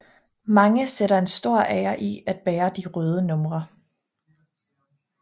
Mange sætter en stor ære i at bære de røde numre